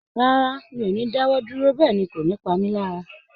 Rárá, mi ò ní dáwọ́ dúró, bẹ́ẹ̀ ni kò ní pa mí lára